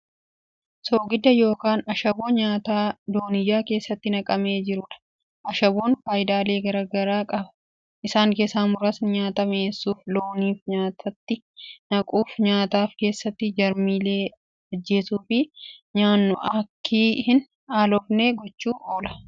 Soogidda yookaan ashaboo nyaataa dooniyaa keessatti naqamee jiruudha. ashaboon faayidaalee garagaraa qaba. isaan keessaa muraasni, nyaataaf mi'eessuuf, looniif nyaatatti naquuf, nyaataaf keessatti jarmiilee ajjeesuufi, nyaannu aakki hin aloofne gochuuf oola. ashaboon bishaan keessatti Kan bulbulamuu danda'uufi halluu adii qabuudha.